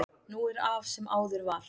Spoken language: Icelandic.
Nú er af sem áður var